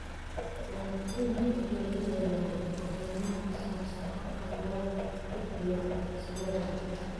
Waalidiintu waxay helayaan macluumaadka ku saabsan habka loo gudbiyo codsiyada.